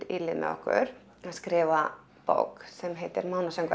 í lið með okkur að skrifa bók sem heitir